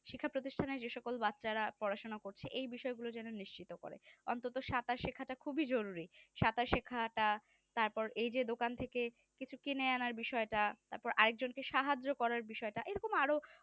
শিক্ষা প্রতিষ্ঠানে যে সকল বাচ্চারা পড়াশোনা করছে এই বিষয়গুলো যেন নিশ্চিত করে অন্তত সাঁতার শেখাটা খুব জরুরী সাঁতার শেখা টা তারপর এই যে দোকান থেকে কিছু কিনে আনার বিষয়টা তারপর আরেকজনকে সাহায্য করার বিষয়টা এরকম আরো